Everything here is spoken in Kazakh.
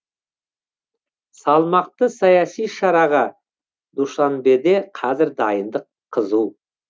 салмақты саяси шараға душанбеде қазір дайындық қызу